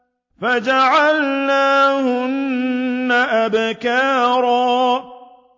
فَجَعَلْنَاهُنَّ أَبْكَارًا